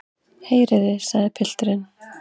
Heyrið þið, sagði pilturinn.